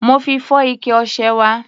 Mo fi fọ́ ike ọṣẹ wa.